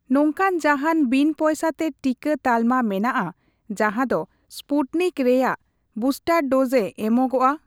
ᱱᱚᱝᱠᱟᱱ ᱡᱟᱦᱟᱸᱱ ᱵᱤᱱ ᱯᱚᱭᱥᱟ ᱛᱮ ᱴᱤᱠᱟᱹ ᱛᱟᱞᱢᱟ ᱢᱮᱱᱟᱜᱼᱟ ᱡᱟᱦᱟᱸ ᱫᱳ ᱥᱯᱩᱴᱱᱤᱠ ᱨᱮᱭᱟᱜ ᱵᱩᱥᱴᱟᱨ ᱰᱳᱡ ᱮ ᱮᱢᱚᱜᱽᱚᱜᱼᱟ᱾